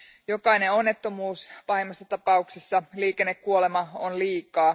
Jokainen onnettomuus, pahimmassa tapauksessa liikennekuolema, on liikaa.